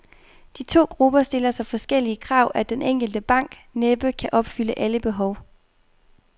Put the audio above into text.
De to grupper stiller så forskellige krav, at den enkelte bank næppe kan opfylde alle behov.